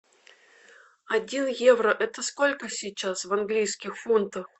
один евро это сколько сейчас в английских фунтах